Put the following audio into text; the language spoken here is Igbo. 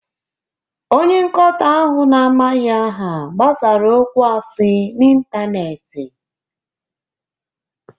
Onye nkoto ahụ na-amaghị aha gbasara okwu asị n'ịntanetị.